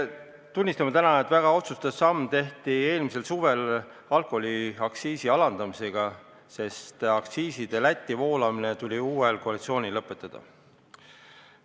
Tunnistame, et väga otsustav samm tehti eelmisel suvel alkoholiaktsiisi alandamisega, sest aktsiisiraha Lätti voolamine tuli uuel koalitsioonil lõpetada.